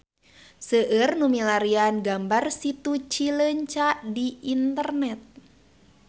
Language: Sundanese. Seueur nu milarian gambar Situ Cileunca di internet